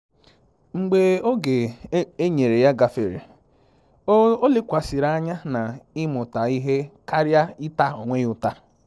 Mgbe oge enyere ya gafere, o lekwasịrị anya na ịmụta ihe karịa ịta onwe ya ụta